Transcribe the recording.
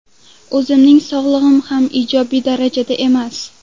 O‘zimning sog‘lig‘im ham ijobiy darajada emas.